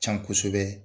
Can kosɛbɛ